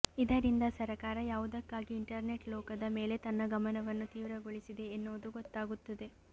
ಇದರಿಂದ ಸರಕಾರ ಯಾವುದಕ್ಕಾಗಿ ಇಂಟರ್ನೆಟ್ ಲೋಕದ ಮೇಲೆ ತನ್ನ ಗಮನವನ್ನು ತೀವ್ರಗೊಳಿಸಿದೆ ಎನ್ನುವುದು ಗೊತ್ತಾಗುತ್ತದೆ